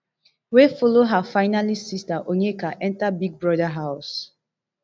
wey follow her finalist sister onyeka enta big brother house